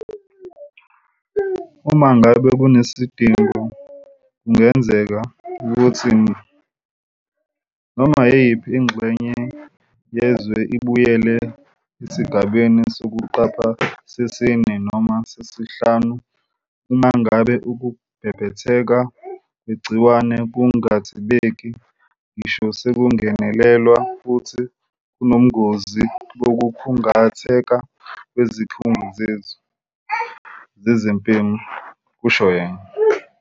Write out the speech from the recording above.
"Uma ngabe kunesidingo kungenzeka ukuthi, noma yiyiphi ingxenye yezwe ibuyele esigabeni sokuqapha sesine noma sesihlanu uma ngabe ukubhebhetheka kwegciwane kungathibeki ngisho sekungenelelwa futhi kunobungozi bokukhungatheka kwezikhungo zethu zezempilo," kusho yena.